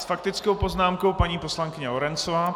S faktickou poznámkou paní poslankyně Lorencová.